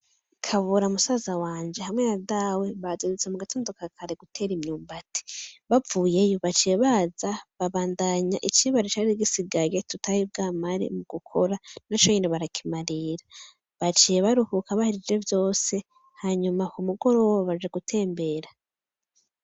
Kabura musaza wanje hamwe na Dawe bazindutse mugatondo ka kare gutera imyumbati bavuyeyo, baciye baza babandaya icibare cari gisigaye tutaribwamare gukora naconyene barakimarira baciye baruhuka, bahejeje vyose hama k'umugoroba baciye baja gutembera.